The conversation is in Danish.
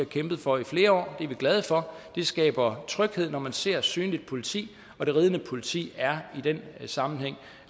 kæmpet for i flere år det er vi glade for det skaber tryghed når man ser synligt politi og det ridende politik er i den sammenhæng